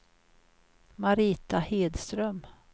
Marita Hedström